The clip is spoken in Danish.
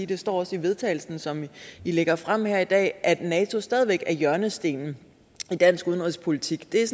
det står også i vedtagelsen som i lægger frem her i dag at nato stadig væk er hjørnestenen i dansk udenrigspolitik det er